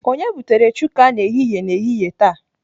Onye butere chuka n'ehihie n'ehihie taa?